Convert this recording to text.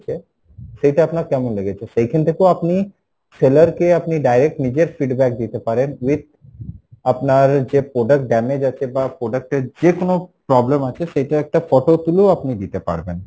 সেইটা আপনার কেমন লেগেছে, সেইখান টাতেও আপনি seller কে আপনি direct নিজের feedback দিতে পারেন with আপনার যে product damage আছে বা product এ যে কোনো problem আছে সেইটা একটা photo তুলেও আপনি দিতে পারবেন,